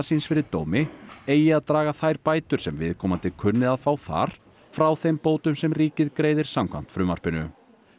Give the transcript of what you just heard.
síns fyrir dómi eigi að draga þær bætur sem viðkomandi kunni að fá þar frá þeim bótum sem ríkið greiðir samkvæmt frumvarpinu